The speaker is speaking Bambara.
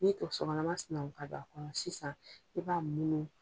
N'i k'o sokanama sinako ka don a kɔnɔ sisan i b'a munu